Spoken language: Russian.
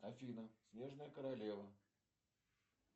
афина снежная королева